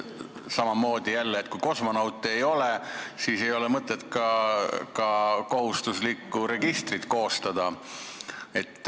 Samamoodi jälle, kui kosmonaute ei ole, siis ei ole mõtet ka kohustuslikku registrit koostada.